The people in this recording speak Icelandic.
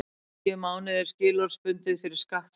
Tíu mánuðir skilorðsbundið fyrir skattsvik